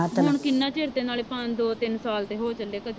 ਹੁਣ ਕਿੰਨਾ ਚਿਰ ਤੇ ਨਾਲੇ ਪੰਜ ਦੋ ਤਿੰਨ ਸਾਲ ਤੇ ਹੋ ਚੱਲੇ ਕਦੇ